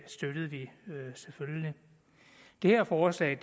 støttede vi selvfølgelig det her forslag